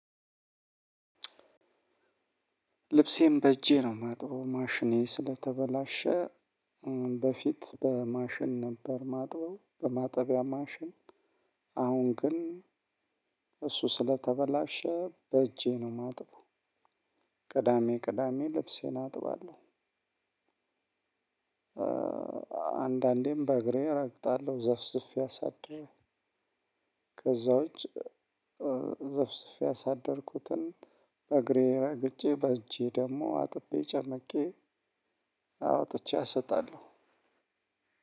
ልብሴን በእጄ ነው ማጥበው ማሽኔ ስለተበላሸ በፊት በማሽን ነበር ማጥበው በማጠቢያ ማሽን አሁን ግን እሱ ስለተበላሸ በእጄ ነው ማጥበው። ቅዳሜ ቅዳሜ ልብሴን አጥባለሁ። አንዳንዴም በእግሬ እረግጣለሁ ዘፍዝፌ አሳድረለው ከዛውጭ ዘፍዝፌ ያሳደርኩትን በእግሬ ረግጬ በእጄ ደግሞ አጥቤ ጨምቄ አወጥቼ አሰጣለሁ።